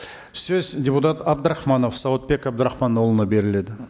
сөз депутат абдрахманов сауытбек абдрахманұлына беріледі